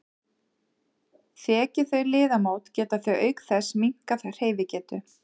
Þeki þau liðamót geta þau auk þess minnkað hreyfigetu.